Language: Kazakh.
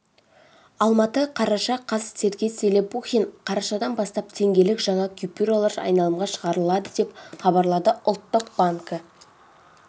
алматы қараша қаз сергей зелепухин қарашадан бастап теңгелік жаңа купюролар айналымға шығарыады деп хабарлады ұлттық банкі